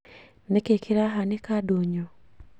Nĩ kĩĩ kĩrahanĩka ndũnyũ